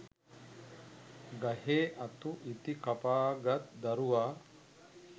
ගහේ අතු ඉති කපා ගත් දරුවා